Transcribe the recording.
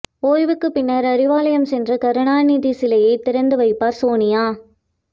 ஓய்வுக்குப் பின்னர் அறிவாலயம் சென்று கருணாநிதி சிலையைத் திறந்து வைப்பார் சோனியா